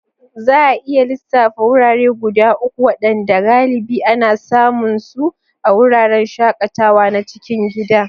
Za a iya lissafa wurare guda uku waɗanda galibi ana samun su a wuraren shakatawa na cikin gida?